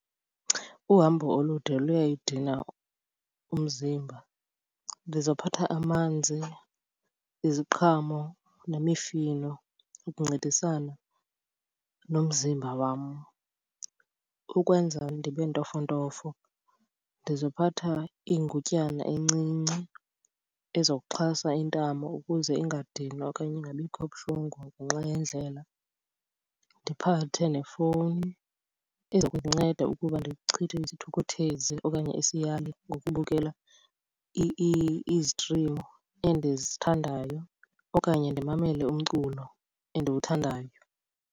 Uhambo olude luyayidina umzimba. Ndizophatha amanzi, iziqhamo nemifino ukuncedisana nomzimba wam. Ukwenza ndibe ntofontofo, ndizophatha ingutyana encinci ezokuxhasa intamo ukuze ingadinwa okanye ingabikho buhlungu ngenxa yendlela. Ndiphathe nefowuni eza kundinceda ukuba ndichithe isithukuthezi okanye isiyali ngokubukela izitrimu endizithandayo okanye ndimamele umculo endiwuthandayo.